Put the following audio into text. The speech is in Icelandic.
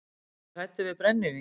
Er ég hræddur við brennivín?